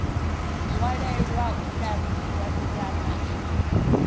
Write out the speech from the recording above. ṅwalelwa u tambiwa ḓirama i